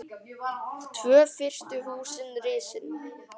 Tvö fyrstu húsin risin.